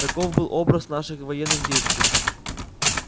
таков был образ наших военных действий